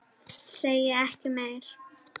Segi ekki meir.